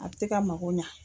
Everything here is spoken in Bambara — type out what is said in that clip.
A ti ka mago ɲa.